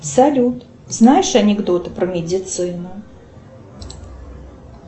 салют знаешь анекдоты про медицину